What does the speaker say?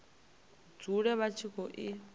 dzule vha tshi khou i